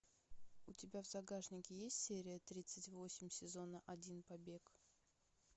у тебя в загашнике есть серия тридцать восемь сезона один побег